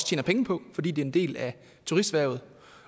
tjener penge på fordi det er en del af turisterhvervet